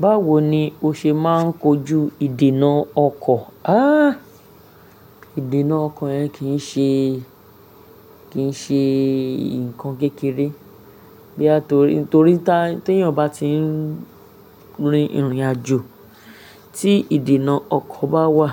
Báwo ni o ṣe máa ń kojú ìdènà ọkọ̀? Há! Ìdènà ọkọ̀ yẹn kìí ṣe, kìí ṣe nǹkan kékeré. Boya torí, torí tí ènìyàn bá tí ń rin ìrìnàjò, tí ìdènà ọkọ̀ bá wà,